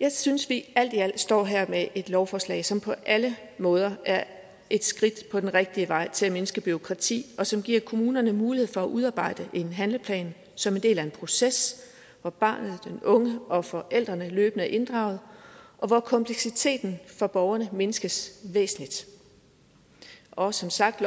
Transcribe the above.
jeg synes at vi alt i alt står her med et lovforslag som på alle måder er et skridt på den rigtige vej til at mindske bureaukrati og som giver kommunerne mulighed for at udarbejde en handleplan som en del af en proces hvor barnet den unge og forældrene løbende er inddraget og hvor kompleksiteten for borgerne mindskes væsentligt og som sagt